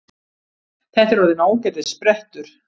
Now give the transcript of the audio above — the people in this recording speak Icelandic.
Þetta er orðinn ágætis sprettur